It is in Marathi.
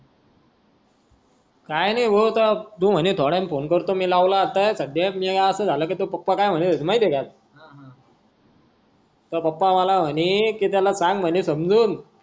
काय नाही भाऊ आता तू म्हणे थोड्या वेळानी फोन करतो मी लावला होता ते आस झाल की तोये पप्पा की म्हने महिती आहे काय तोये पप्पा मला म्हणे की त्याला सांग म्हणे समजून.